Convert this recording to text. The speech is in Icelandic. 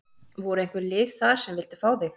Voru einhver lið þar sem vildu fá þig?